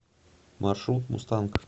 маршрут мустанг